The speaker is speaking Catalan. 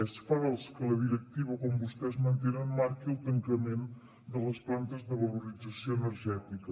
és fals que la directiva com vostès mantenen marqui el tancament de les plantes de valorització energètica